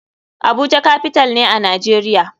Abuja capital ne a nijeria.